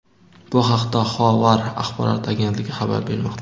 Bu haqda "Xovar" axborot agentligi xabar bermoqda.